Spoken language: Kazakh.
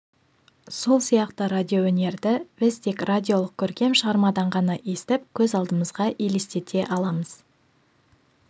сол сияқты радиоөнерді біз тек радиолық көркем шығармадан ғана естіп көз алдымызға елестете аламыз